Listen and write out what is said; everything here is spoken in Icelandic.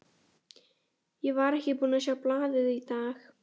Ég var ekki búinn að sjá blaðið í dag.